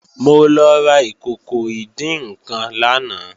Mo lọ ra ìkòkò ìdín-nǹkan lánàá